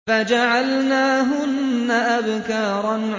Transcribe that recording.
فَجَعَلْنَاهُنَّ أَبْكَارًا